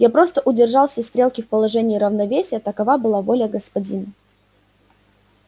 я просто удержал все стрелки в положении равновесия такова была воля господина